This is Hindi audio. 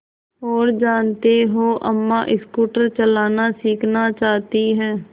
और जानते हो अम्मा स्कूटर चलाना सीखना चाहती हैं